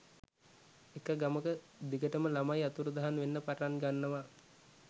එක ගමක දිගටම ළමයි අතුරුදහන් වෙන්න පටන් ගන්නවා